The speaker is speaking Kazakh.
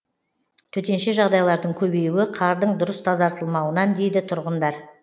төтенше жағдайлардың көбеюі қардың дұрыс тазартылмауынан дейді тұрғындар